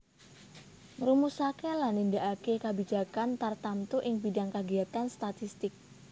Ngrumusaké lan nindakaké kabijakan tartamtu ing bidhang kagiyatan statistik